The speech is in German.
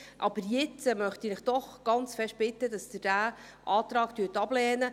Aber jetzt möchte ich Sie doch ganz fest bitten, dass Sie diesen Antrag ablehnen.